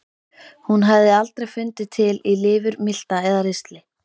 Hún hafði aldrei fundið til í lifur, milta eða ristli.